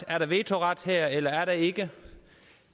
er der vetoret her eller er der ikke